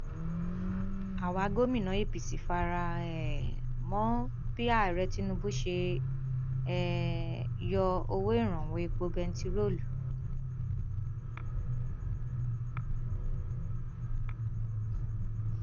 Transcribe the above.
àwa gómìnà apc fara um mọ bí ààrẹ tinubu ṣe um yọ owó ìrànwọ epo bẹntiróòlù